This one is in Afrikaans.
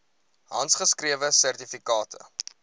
handgeskrewe sertifikate